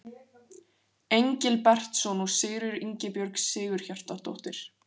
Engilbertsson og Sigríður Ingibjörg Sigurhjartardóttir.